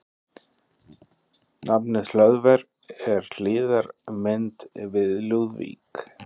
Nafnið Hlöðver er hliðarmynd við Lúðvík.